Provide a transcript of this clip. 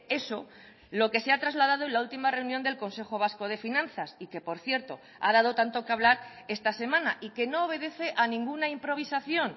eso lo que se ha trasladado en la última reunión del consejo vasco de finanzas y que por cierto ha dado tanto que hablar esta semana y que no obedece a ninguna improvisación